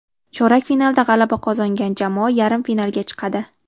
Chorak finalda g‘alaba qozongan jamoa yarim finalga chiqadi.